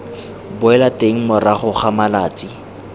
boela teng morago ga malatsi